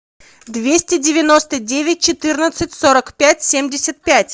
двести девяносто девять четырнадцать сорок пять семьдесят пять